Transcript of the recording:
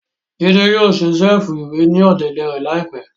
Jide yóò ṣe ṣẹ̀fù-iwe ni ọ̀dẹ̀dẹ̀ rẹ laipẹ